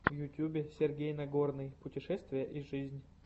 в ютьюбе сергей нагорный путешествия и жизнь